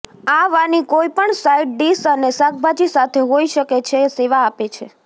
આ વાની કોઈપણ સાઇડ ડિશ અને શાકભાજી સાથે હોઇ શકે છે સેવા આપે છે